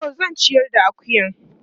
Toh zan ciyar da akuyan.